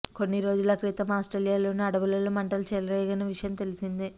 కొన్ని రోజుల క్రితం ఆస్ట్రేలియాలోని అడవులలో మంటలు చెలరేగిన విషయం తెలిసిందే